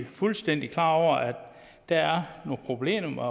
fuldstændig klar over der er nogle problemer